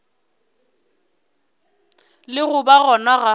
le go ba gona ga